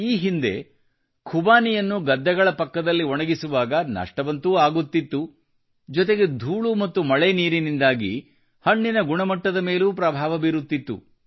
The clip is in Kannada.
ಈ ಹಿಂದೆ ಖುಬಾನಿಯನ್ನು ಗದ್ದೆಗಳ ಪಕ್ಕದಲ್ಲಿ ಒಣಗಿಸುವಾಗ ನಷ್ಟವಂತೂ ಆಗುತ್ತಿತ್ತು ಜೊತೆಗೆ ಧೂಳು ಮತ್ತು ಮಳೆ ನೀರಿನಿಂದಾಗಿ ಹಣ್ಣಿನ ಗುಣಮಟ್ಟದ ಮೇಲೂ ಪ್ರಭಾವ ಬೀರುತ್ತಿತ್ತು